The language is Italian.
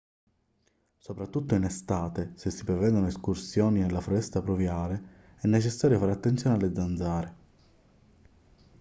soprattutto in estate se si prevedono escursioni nella foresta pluviale è necessario fare attenzione alle zanzare